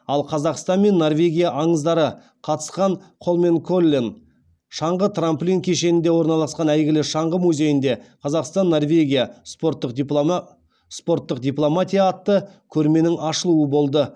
ал қазақстан мен норвегия аңыздары қатысқан холменколлен шаңғы трамплинг кешенінде орналасқан әйгілі шаңғы музейінде қазақстан норвегия спорттық дипломатия атты көрменің ашылуы болды